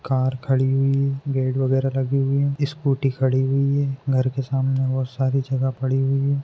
Car खडी हुई है गेट वगैरा लगे हुए है इस्कूटी खडी हुई है घर के सामने बहुत सारी जगह पडी हुई है।